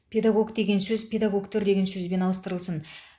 педагог деген сөз педагогтер деген сөзбен ауыстырылсын